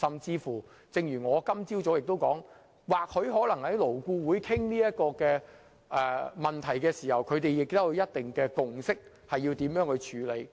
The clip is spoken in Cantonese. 正如我今早所說，或許勞顧會在討論這個問題時已達成一定共識，提出應如何處理。